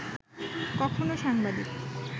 কখনো সাংবাদিক